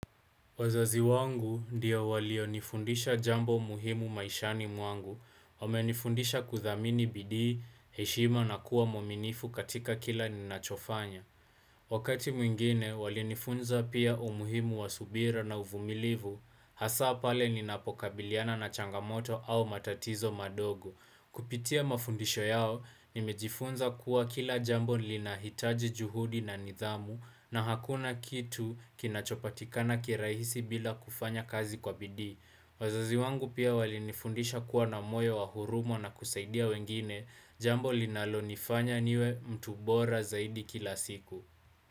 Wazazi wangu ndio walionifundisha jambo muhimu maishani mwangu, wamenifundisha kuthamini bidii, heshima na kuwa mwaminifu katika kila ninachofanya. Wakati mwingine, walinifunza pia umuhimu wa subira na uvumilivu, hasa pale ninapokabiliana na changamoto au matatizo madogo. Kupitia mafundisho yao, nimejifunza kuwa kila jambo linahitaji juhudi na nidhamu na hakuna kitu kinachopatikana kirahisi bila kufanya kazi kwa bidii. Wazazi wangu pia walinifundisha kuwa na moyo wa huruma na kusaidia wengine, jambo linalonifanya niwe mtu bora zaidi kila siku.